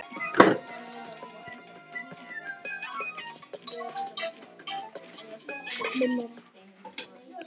Mér finnst það nú mjög við hæfi?